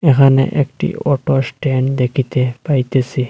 এখানে একটি auto stand দেখিতে পাইতেসি।